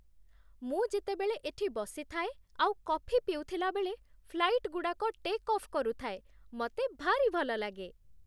ମୁଁ ଯେତେବେଳେ ଏଠି ବସିଥାଏ ଆଉ କଫି ପିଉଥିଲାବେଳେ ଫ୍ଲାଇଟ୍‌ଗୁଡ଼ାକ ଟେକ୍ ଅଫ୍ କରୁଥାଏ ମତେ ଭାରି ଭଲ ଲାଗେ ।